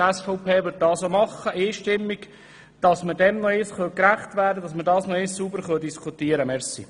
Die SVP wird dies einstimmig tun, sodass wir dem gerecht werden und nochmals sauber darüber diskutieren können.